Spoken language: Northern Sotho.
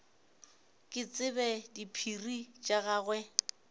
ke tsebe diphiri tša gagwe